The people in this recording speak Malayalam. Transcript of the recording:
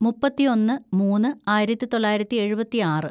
മുപ്പത്തിയൊന്ന് മൂന്ന് ആയിരത്തിതൊള്ളായിരത്തി എഴുപത്തിയാറ്‌